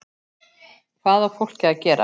Hvað á fólkið að gera?